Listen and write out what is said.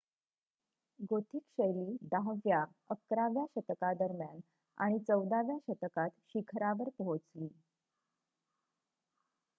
Gothic शैली 10 व्या - 11 व्या शतकादरम्यान आणि 14 व्या शतकात शीखरावर पोहोचली